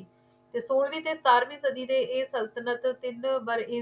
ਉਹ ਬਾਰਾਂ ਸੋ ਨੜਿੱਨਵੇਂ ਤੋਂ ਲੈ ਕੇ ਉੰਨੀ ਸੋ ਤਰਿਆਵਨੇ ਰਹੀ ਤੇ ਏ ਉੰਨੀ ਸੋ ਤੇਈ ਤੁਰਕੀ